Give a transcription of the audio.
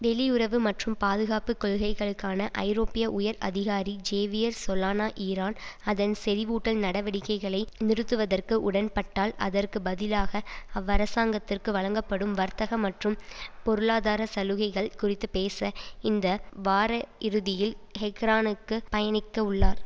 வெளியுறவு மற்றும் பாதுகாப்பு கொள்கைகளுக்கான ஐரோப்பிய உயர் அதிகாரி ஜேவியர் சோலானா ஈரான் அதன் செறிவூட்டல் நடவடிக்கைகளை நிறுத்துவதற்கு உடன்பட்டால் அதற்கு பதிலாக அவ்வரசாங்கத்திற்கு வழங்கப்படும் வர்த்தக மற்றும் பொருளாதார சலுகைகள் குறித்து பேச இந்த வாரயிறுதியில் ஹெக்ரானுக்கு பயணிக்கவுள்ளார்